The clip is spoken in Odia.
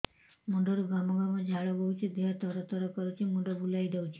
ମୁଣ୍ଡରୁ ଗମ ଗମ ଝାଳ ବହୁଛି ଦିହ ତର ତର କରୁଛି ମୁଣ୍ଡ ବୁଲାଇ ଦେଉଛି